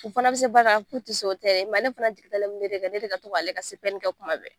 U fana be se baara, ka fu te se o tɛ dɛ ale fana jigi dalen be ne de kan ne ka to k'ale ka sɛbɛnni kɛ kuma bɛɛ.